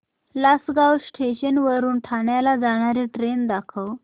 Lasalgaon station वरून ठाण्याला जाणारी ट्रेन दाखव